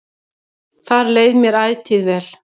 Þar leið mér ætíð vel.